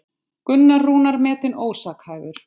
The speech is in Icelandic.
Gunnar Rúnar metinn ósakhæfur